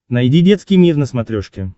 найди детский мир на смотрешке